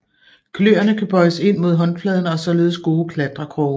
Kløerne kan bøjes ind mod håndfladen og er således gode klatrekroge